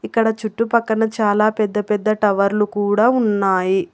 ఇక్కడ చుట్టుపక్కన చాలా పెద్ద పెద్ద టవర్లు కూడా ఉన్నాయి.